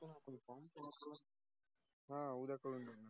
हा उद्या करूया.